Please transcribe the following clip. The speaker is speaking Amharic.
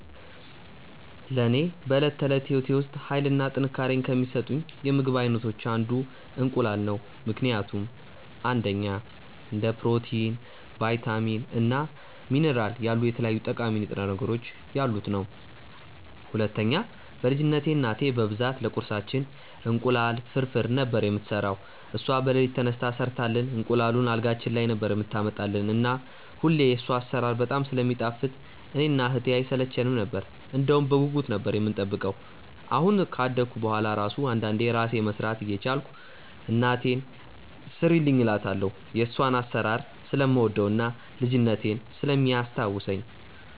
ለኔ በዕለት ተዕለት ሕይወቴ ውስጥ ኃይልን እና ጥንካሬን ከሚሰጡኝ የምግብ አይነቶች አንዱ እንቁላል ነው ምክንያቱም፦ 1. እንደ ፕሮቲን፣ ቫይታሚን እና ሚኒራል ያሉ የተለያዩ ጠቃሚ ንጥረ ነገሮች ያሉት ነዉ። 2. በ ልጅነትቴ እናቴ በብዛት ለቁርሳችን እንቁላል ፍርፍር ነበር የምትሰራው እሷ በለሊት ተነስታ ሰርታልን እንቁላሉን አልጋችን ላይ ነበር የምታመጣልን እና ሁሌ የሷ አሰራር በጣም ስለሚጣፍጥ እኔ እና እህቴ አይሰለቸነም ነበር እንደውም በጉጉት ነበር የምንጠብቀው አሁን ካደኩ በሁዋላ እራሱ አንዳንዴ እራሴ መስራት እየቻልኩ እናቴን ስሪልኝ እላታለው የሷን አሰራር ስለምወደው እና ልጅነቴን ስለሚያስታውሰኝ።